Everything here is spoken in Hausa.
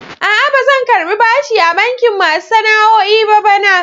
A'a, ba zan karɓi bashi a bankin masu sana'o'i ba bana.